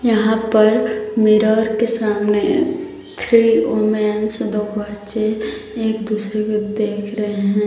यहां पर मिरर के सामने थ्री वूमेंस दो बच्चे एक दूसरे को देख रहे हैं।